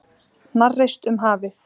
Hnarreist um hafið.